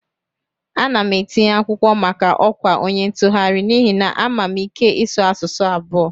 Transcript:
Ana m etinye akwụkwọ maka ọkwa onye ntụgharị n'ihi na ama m ike ịsụ asụsụ abụo